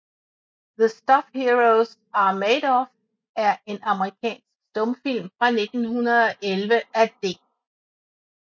The Stuff Heroes Are Made Of er en amerikansk stumfilm fra 1911 af D